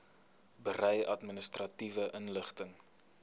berei administratiewe inligting